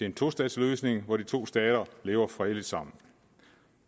en tostatsløsning hvor de to stater lever fredeligt sammen